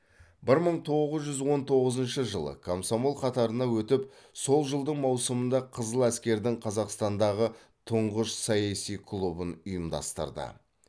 бір мың тоғыз жүз он тоғызыншы жылы комсомол қатарына өтіп сол жылдың маусымында қызыл әскердің қазақстандағы тұңғыш саяси клубын ұйымдастырды